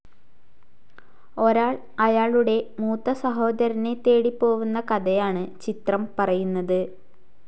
ഒരാൾ അയാളുടെ മൂത്ത സഹോദരനെ തേടി പോവുന്ന കഥയാണ് ചിത്രം പറയുന്നത്.